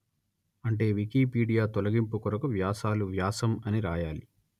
అంటే వికీపీడియా తొలగింపు కొరకు వ్యాసాలు వ్యాసం అని రాయాలి